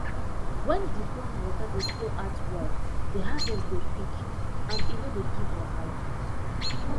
wen d pond water dey flow out well d harvest dey quick and e no dey give wahala